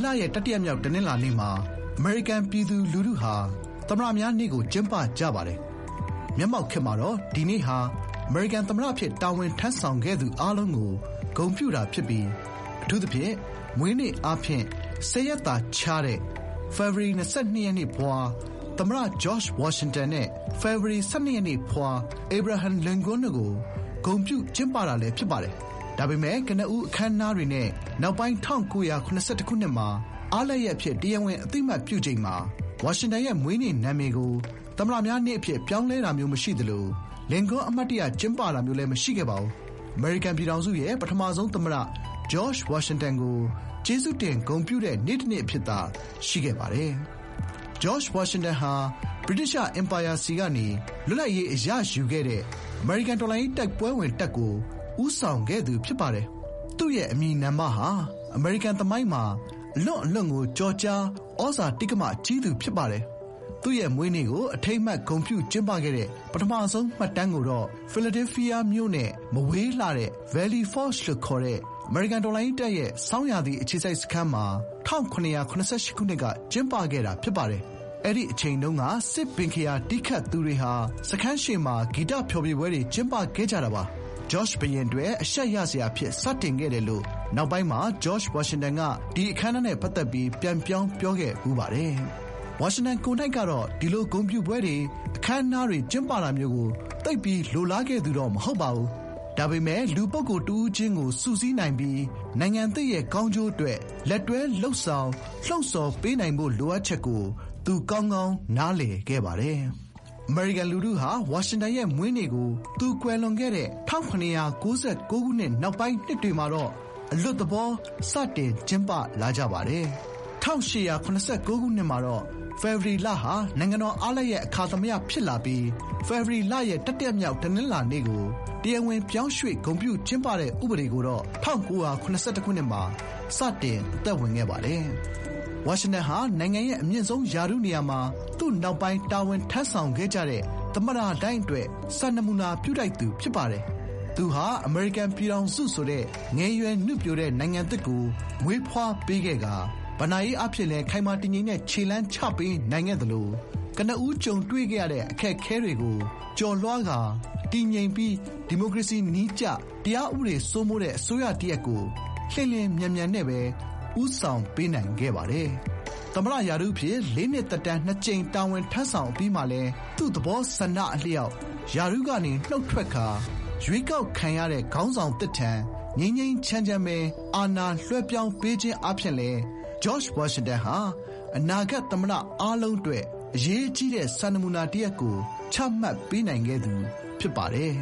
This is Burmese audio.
လရဲ့ တတိယမြောက် တနင်္လာနေ့မှာ အမေရိကန်ပြည်သူလူထုဟာ သမ္မတများနေ့ကို ကျင်းပကြပါတယ်။ မျက်မှောက်ခေတ်မှာတော့ ဒီနေ့ဟာ အမေရိကန်သမ္မတအဖြစ် တာဝန်ထမ်းဆောင်ခဲ့သူအားလုံးကို ဂုဏ်ပြုတာဖြစ်ပြီး အထူးသဖြင့် မွေးနေ့အားဖြင့် ၁၀ ရက်သာခြားတဲ့ ဖေဖော်ဝါရီ ၂၂ ရက်နေ့ ဖွား သမ္မတ ဂျော့ခ်ျဝါရှင်တန်နဲ့ ဖေဖော်ဝါရီ ၁၀ ရက်နေ့ဖွား အေဗရာဟမ်လင်ကွန်းတို့ကို ဂုဏ်ပြုကျင်းပတာလည်း ဖြစ်ပါတယ်။ ဒါပေမယ့် ကနဦး အခမ်းအနားတွေနဲ့ နောက်ပိုင်း ၁၉၇၁ ခုနှစ်မှာ အားလပ်ရက် အဖြစ် တရားဝင်အသိအမှတ်ပြုချိန်မှာ ဝါရှင်တန်ရဲ့မွေးနေ့နာမည်ကို သမ္မတများနေ့အဖြစ် ပြောင်းလဲတာမျိုးမရှိသလို လင်ကွန်း အမှတ်တရ ကျင်းပတာမျိုးလည်း မရှိခဲ့ပါဘူး။ အမေရိကန်ပြည်ထောင်စုရဲ့ ပထမဆုံးသမ္မတ ဂျော့ခ်ျဝါရှင်တန်ကို ကျေးဇူးတင်ဂုဏ်ပြုတဲ့ နေ့တနေ့အဖြစ်သာ ရှိခဲ့ပါတယ်။ ဂျော့ခ်ျဝါရှင်တန်ဟာ ဗြိတိသျှ အင်ပါယာဆီကနေ လွတ်လပ်ရေးအရယူခဲ့တဲ့ အမေရိကန် တော်လှန်ရေးတိုက်ပွဲဝင်တပ်ကို ဦးဆောင်ခဲ့သူဖြစ်ပါတယ်။ သူရဲ့ အမည်နာမဟာ အမေရိကန်သမိုင်းမှာ အလွန့်အလွန်ကို ကျော်ကြား ဩဇာတိက္ကမ ကြီးသူဖြစ်ပါတယ်။ သူ့ရဲ့မွေးနေ့ကို အထိမ်းအမှတ်ဂုဏ်ပြုကျင်းပခဲ့တဲ့ ပထမဆုံးမှတ်တမ်းကိုတော့ ဖီလာဒဲလ်ဖီးယားမြို့နဲ့ မဝေးလှတဲ့ Valley Forge လို့ခေါ်တဲ့ အမေရိကန်တော်လှန်ရေးတပ်ရဲ့ဆောင်းရာသီအခြေစိုက်စခန်းမှာ ၁၇၇၈ ခုနှစ်က ကျင်းပခဲ့တာဖြစ်ပါတယ်။ အဲဒီအချိန်တုန်းက စစ်ဘင်ခရာ တီးခတ်သူတွေဟာ စခန်းရှေ့မှာ ဂီတဖျော်ဖြေပွဲ ကျင်းပခဲ့ကြတာပါ။"ဂျော့ခ်ျဘုရင်အတွက် အရှက်ရစရာအဖြစ် စတင်ခဲ့တယ်" လို့ နောက်ပိုင်းမှာ ဂျော့ခ်ျဝါရှင်တန်က ဒီ အခမ်းအနားနဲ့ ပတ်သက်ပြီး ပြန်ပြောင်းပြောခဲ့ဖူးပါတယ်။ ဝါရှင်တန်ကိုယ်နှိုက်ကတော့ ဒီလို ဂုဏ်ပြုပွဲတွေ၊ အခမ်းအနားတွေ ကျင်းပတာမျိုးကို သိပ်ပြီး လိုလားခဲ့သူတော့ မဟုတ်ပါဘူး။ ဒါပေမယ့် လူပုဂ္ဂိုလ်တဦးချင်းကို စုစည်းနိုင်ပြီး နိုင်ငံသစ်ရဲ့ ကောင်းကျိုးအတွက် လက်တွဲလုပ်ဆောင် လှုံ့ဆော်ပေးနိုင်ဖို့ လိုအပ်ချက်ကို သူ ကောင်းကောင်းနားလည်ခဲ့ပါတယ်။ အမေရိကန်လူထုဟာ ဝါရှင်တန်ရဲ့မွေးနေ့ကို သူကွယ်လွန်ခဲ့တဲ့ ၁၇၉၉ ခုရဲ့ နောက်ပိုင်းနှစ်တွေမှာ အလွတ်သဘော စတင်ကျင်းပလာခဲ့ကြပါတယ်။ ၁၈၇၉ ခုနှစ်မှာတော့ ဖေဖော်ဝါရီလဟာ နိုင်ငံတော်အားလပ်ရက် အခါသမယဖြစ်လာပြီး ဖေဖော်ဝါရီလရဲ့ တတိယမြောက်တနင်္လာနေ့ကို တရားဝင်ပြောင်းရွှေ့ ဂုဏ်ပြုကျင်းပတဲ့ဥပဒေကိုတော့ ၁၉၇၁ ခုနှစ်မှာ စတင် အသက်ဝင်ခဲ့ပါတယ်။ ဝါရှင်တန်ဟာ နိုင်ငံရဲ့အမြင့်ဆုံးရာထူးနေရာမှာ သူ့နောက်ပိုင်း တာဝန်ထမ်းဆောင်ခဲ့ကြတဲ့ သမ္မတတိုင်းအတွက် စံနမူနာပြုထိုက်သူ ဖြစ်ပါတယ်။ သူဟာ အမေရိကန်ပြည်ထောင်စုဆိုတဲ့ ငယ်ရွယ်နုပျိုတဲ့နိုင်ငံသစ်ကို မွေးဖွားပေးခဲ့ပြီး ဘဏ္ဍာရေးအားဖြင့်လည်း ခိုင်မာတည်ငြိမ်တဲ့ ခြေလှမ်းချပေးနိုင်ခဲ့ပါတယ်။ ကနဦး ကြုံတွေ့ခဲ့ရတဲ့ အခက်အခဲတွေကို ကျော်လွှားကာ တည်ငြိမ်ပြီး ဒီမိုကရေစီနည်းကျ တရားဥပဒေစိုးမိုးတဲ့ အစိုးရတရပ်ကို လျင်လျင်မြန်မြန်နဲ့ပဲ ဦးဆောင်ပေးခဲ့ပါတယ်။ သမ္မတရာထူးအဖြစ် လေးနှစ်သက်တမ်းနှစ်ကြိမ် တာဝန်ထမ်းဆောင်အပြီးမှာလည်း သူ့သဘောဆန္ဒအလျောက် ရာထူးကနေ နုတ်ထွက်ကာ ရွေးကောက်ခံရတဲ့ ခေါင်းဆောင်သစ်ထံ ငြိမ်းငြိမ်းချမ်းချမ်းပဲ အာဏာလွှဲပြောင်းပေးခဲ့ခြင်းအားဖြင့်လည်း ဂျော့ခ်ျဝါရှင်တန်ဟာ အနာဂတ်သမ္မတအားလုံးအတွက် အရေးကြီးတဲ့ စံနမူနာတရပ်ကို ချမှတ်ပေးနိုင်ခဲ့သူ ဖြစ်ပါတယ်